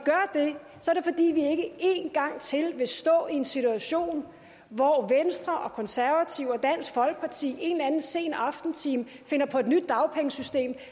ikke én gang til vil stå i en situation hvor venstre og konservative og dansk folkeparti i en eller anden sen aftentime finder på et nyt dagpengesystem